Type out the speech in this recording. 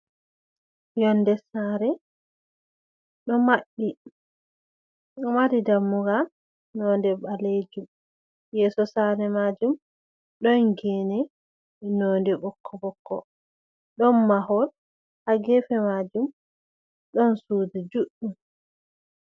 Yonde sare ɗo maɓɓi, ɗo mari dammugal nonde ɓalejum. Yeso sare majum ɗon gene nonde ɓokko-ɓokko. Ɗon mahol ha gefe majum ɗon sudu juɗɗum.